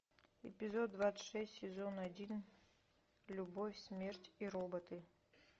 эпизод двадцать шесть сезон один любовь смерть и роботы